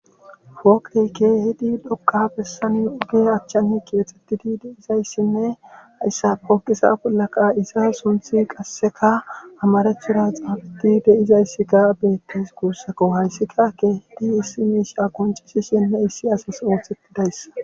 Woeyke hidi dokqa bessani ugi achchani kipexettidi deizayssinne saooqisa bollaqa isa sunthi qasseka amarethuda xaabadi deizayssika beettes guussako hayssikakke hidi issi miisha koncishishenne issi asas oothettidayss